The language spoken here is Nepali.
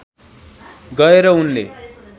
गएर उनले